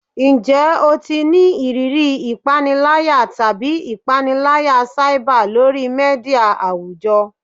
Njẹ o ti ni iriri ipanilaya tabi ipanilaya cyber lori media awujọ?